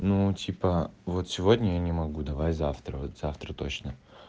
ну типа вот сегодня я не могу давай завтра вот завтра точно